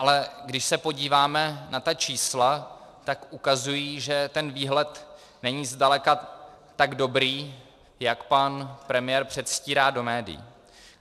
Ale když se podíváme na ta čísla, tak ukazují, že ten výhled není zdaleka tak dobrý, jak pan premiér předstírá do médií.